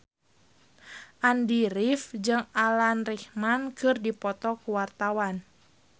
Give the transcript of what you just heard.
Andy rif jeung Alan Rickman keur dipoto ku wartawan